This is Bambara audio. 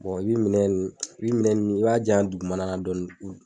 i bi minɛn nuuu, i bi minɛn nunnu i b'a di yan dugumana na dɔɔni.